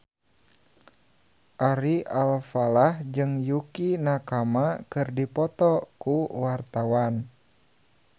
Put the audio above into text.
Ari Alfalah jeung Yukie Nakama keur dipoto ku wartawan